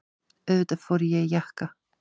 Auðvitað fer ég í jakka.